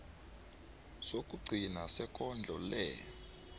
sokugcina sekondlo le